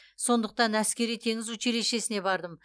сондықтан әскери теңіз училищесіне бардым